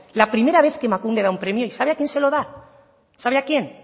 la primera vez que emakunde da un premio y sabe a quién se lo da sabe a quién